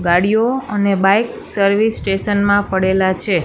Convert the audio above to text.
ગાડીઓ અને bike service station મા પડેલા છે.